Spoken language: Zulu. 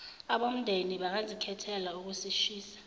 abomndeni bangazikhethela ukusishisa